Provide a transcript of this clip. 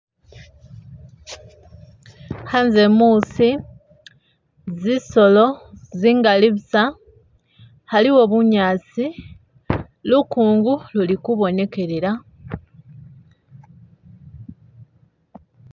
Hanze musi zisolo zingali busa haliwo bunyasi lukungu luli kubonekelela.